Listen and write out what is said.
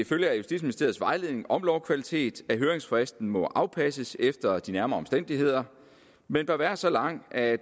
følger af justitsministeriets vejledning om lovkvalitet at høringsfristen må afpasses efter de nærmere omstændigheder men bør være så lang at